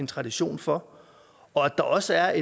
tradition for og at der også er